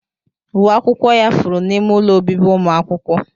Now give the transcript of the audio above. Uwe akwụkwọ ya furu n'ime ụlọ obibi ụmụ akwụkwọ.